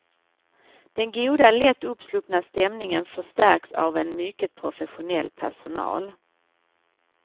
Den goda, lätt uppsluppna stämningen förstärks av en mycket professionell personal.